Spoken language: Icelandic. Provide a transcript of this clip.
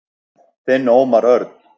Þinn Ómar Örn.